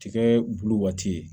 Tikɛ bulu waati ye